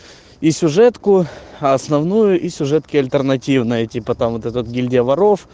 и сюжетку основную и сюжетки альтернативные типа там вот этот гильдия воров